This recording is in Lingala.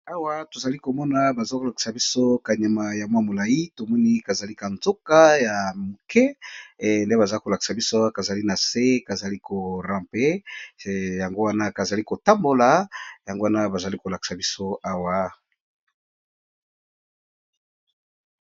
Awa tozali komona bazali kolakisa biso nioka moko, oyo ezali nanu muke